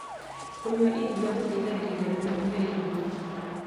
Kũnyua iria gũteithagĩrĩria kũhe mwĩrĩ hinya